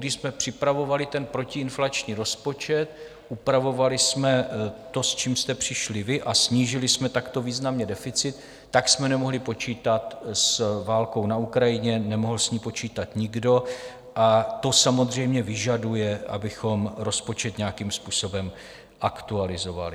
Když jsme připravovali ten protiinflační rozpočet, upravovali jsme to, s čím jste přišli vy, a snížili jsme takto významně deficit, tak jsme nemohli počítat s válkou na Ukrajině, nemohl s ní počítat nikdo, a to samozřejmě vyžaduje, abychom rozpočet nějakým způsobem aktualizovali.